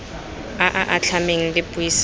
a a atlhameng le puisano